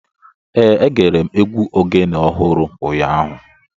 Ee, egere m egwu Ogene ọhụrụ ụnyahụ